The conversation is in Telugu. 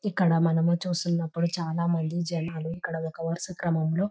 ఇక్కడ మనం చూస్తున్నప్పుడు చాలామంది జనాలు ఇక్కడ ఒక వరుస క్రమంలో --